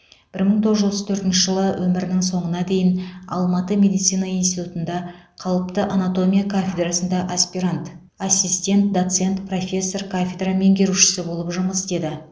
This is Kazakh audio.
бір мың тоғыз жүз отыз төртінші жылы өмірінің соңына дейін алматы медицина институтында қалыпты анатомия кафедрасында аспирант ассистент доцент профессор кафедра меңгерушісі болып жұмыс істеді